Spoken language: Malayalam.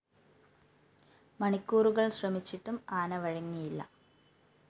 മണിക്കൂറുകള്‍ ശ്രമിച്ചിട്ടും ആന വഴങ്ങിയില്ല